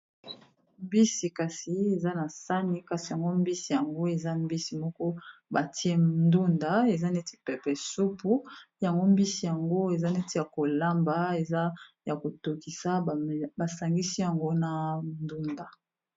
Mbisi kasi eza na sani kasi yango mbisi yango eza mbisi moko batie ndunda eza neti pepe supu yango mbisi yango eza neti ya kolamba eza ya kotokisa basangisi yango na ndunda.